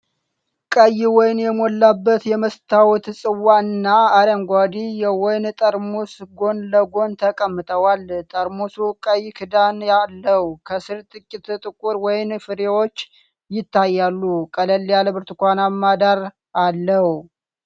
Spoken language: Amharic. ቀይ ወይን የሞላበት የመስታወት ጽዋ እና አረንጓዴ የወይን ጠርሙስ ጎን ለጎን ተቀምጠዋል:: ጠርሙሱ ቀይ ክዳን አለው:: ከሥር ጥቂት ጥቁር ወይን ፍሬዎች ይታያሉ:: ቀለል ያለ ብርቱካናማ ዳራ አለው::